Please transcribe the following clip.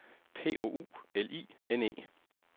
P O U L I N E